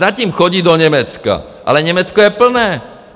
Zatím chodí do Německa, ale Německo je plné.